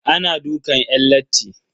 Ana dukan yan latti.